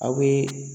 Aw bɛ